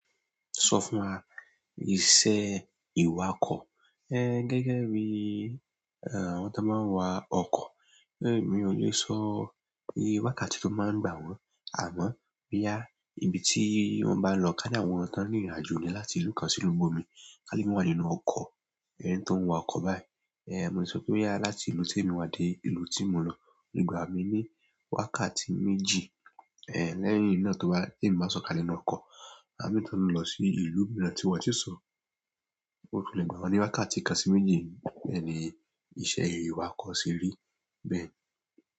Sọ fún wa ìṣe ìwakọ̀. Ẹ̀ gẹ́gẹ́ bí àwọn tó máa ń wa ọkọ̀. Mi ò lè sọ ìye wákàtí tó máa ń gbà wọ́n. Àmọ́, bí à, ibi tí wọ́n bá n lọ ká ní àwọn ti won ni ìrìnàjò ni láti ìlú kan sí ìlú ibomi. Ká ní won le lo ọkọ̀, ẹni tó ń wa ọkọ̀ báyìí. Mo le so pe boya láti ìlú ti mo wa de ìlú ti mo n lọ le gba mi ni boya wákàtí méjì ẹ̀, lẹ́yìn ná tó bá tí èmi bá sọ̀kalẹ̀ nínú ọkọ̀. Àwọn mii tí o n lọ sí ìlú mìíràn ti wọ́n sì sọ, ó lè gbà wọ́n sí wákàtí kan sí méjì. Bẹ́ẹ̀ ni iṣẹ́ ìwakọ̀ ṣe rí bẹ́ẹ̀.